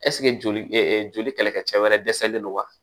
ɛsike joli kɛlɛkɛcɛ wɛrɛ dɛsɛlen don wa